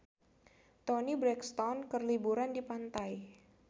Toni Brexton keur liburan di pantai